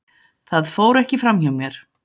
Það fór ekki fram hjá mér.